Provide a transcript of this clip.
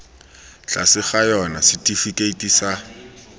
tlase ga yona setifikeiti sa